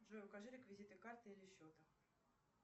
джой укажи реквизиты карты или счета